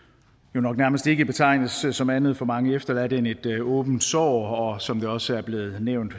nok nærmest ikke betegnes som andet for mange efterladte end et åbent sår og som der også er blevet nævnt